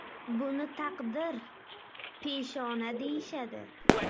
Buni taqdir, peshona deyishadi.